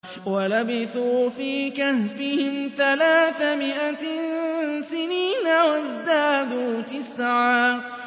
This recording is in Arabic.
وَلَبِثُوا فِي كَهْفِهِمْ ثَلَاثَ مِائَةٍ سِنِينَ وَازْدَادُوا تِسْعًا